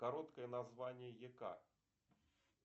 короткое название ека